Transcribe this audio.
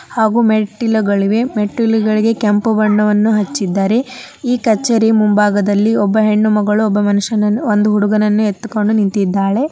ಹಾಗು ಮೆಟ್ಟಿಲುಗಳು ಇವೆ ಮೆಟ್ಟಿಲುಗಳಿಗೆ ಕೆಂಪು ಬಣ್ಣವನ್ನು ಹಚ್ಚಿದ್ದಾರೆ. ಈ ಕಚೇರಿ ಮುಂಭಾಗದಲ್ಲಿ ಒಬ್ಬ ಹೆಣ್ಣು ಮಗಳು ಒಂದು ಮನುಷ್ಯನನ್ನು ಒಂದು ಹುಡುಗನನ್ನು ಎತ್ತುಕೊಂಡು ನಿಂತಿದ್ದಾಳೆ.